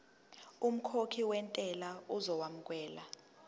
umkhokhi wentela uzokwamukelwa